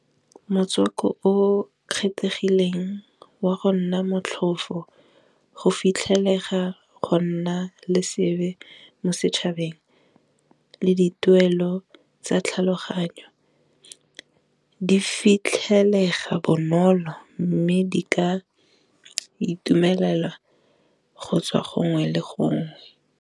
Motswako o kgethegileng wa go nna motlhofo go fitlhelega go nna le seabe mo setšhabeng le di tuelo tsa tlhaloganyo, di fitlhelega bonolo mme di ka itumelela go tswa gongwe le gongwe.